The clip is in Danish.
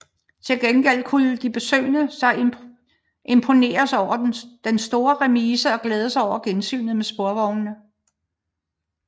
Til gengæld kunne de besøgende så imponeres over den store remise og glæde sig over gensynet med sporvognene